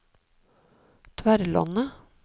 Tverlandet